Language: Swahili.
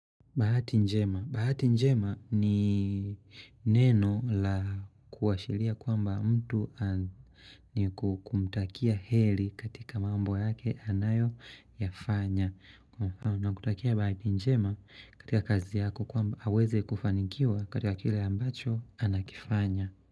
Bahati njema. Bahati njema ni neno la kuwashiria kuamba mtu ni kumtakia heri katika mambo yake anayo yafanya. Na kutakia bahati njema katika kazi yako kuamba aweze kufanikiwa katika kila ambacho anakifanya.